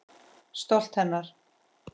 Stolt hennar.